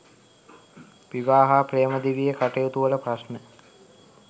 විවාහ හා ප්‍රේම දිවියේ කටයුතුවල ප්‍රශ්න